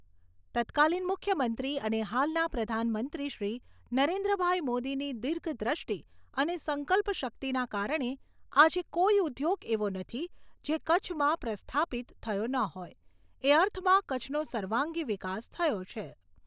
તત્કાલીન મુખ્યમંત્રી અને હાલના પ્રધાનમંત્રીશ્રી નરેન્દ્રભાઈ મોદીની દિર્ધદ્રષ્ટિ અને સંકલ્પશક્તિના કારણે આજે કોઈ ઉદ્યોગ એવો નથી જે કચ્છમાં પ્રસ્થાપિત થયો ન હોય, એ અર્થમાં કચ્છનો સર્વાંગી વિકાસ થયો છે.